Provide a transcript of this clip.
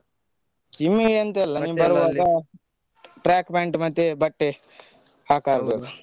Gym ಎಂತ ಇಲ್ಲ ನೀನ್ ಬರುವಾಗ track pant ಮತ್ತೆ ಬಟ್ಟೆ .